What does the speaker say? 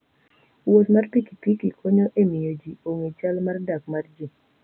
Wuoth mar pikipiki konyo e miyo ji ong'e chal mar dak mar ji.